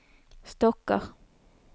stokker